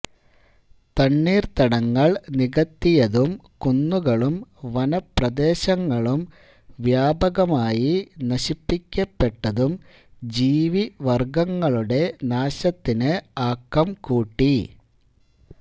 തണ്ണീര്ത്തടങ്ങള് നികത്തിയതും കുന്നുകളും വനപ്രദേശങ്ങളും വ്യാപകമായി നശിപ്പിക്കപ്പെട്ടതും ജീവിവര്ഗങ്ങളുടെ നാശത്തിന് ആക്കംകൂട്ടി